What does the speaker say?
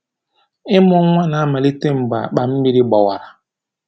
Ịmụ nwa na-amalite mgbe akpa mmiri gbawara.